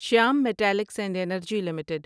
Shyam metallics and energy limited